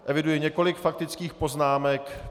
Eviduji několik faktických poznámek.